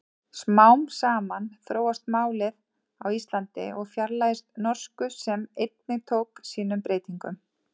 Smám saman þróast málið á Íslandi og fjarlægist norsku sem einnig tók sínum breytingum.